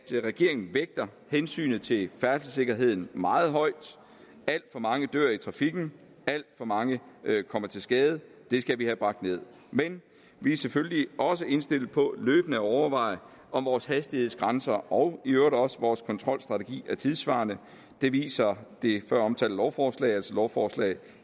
regeringen vægter hensynet til færdselssikkerheden meget højt alt for mange dør i trafikken alt for mange kommer til skade det skal vi have bragt ned men vi er selvfølgelig også indstillet på løbende at overveje om vores hastighedsgrænser og i øvrigt også vores kontrolstrategi er tidssvarende det viser det føromtalte lovforslag altså lovforslag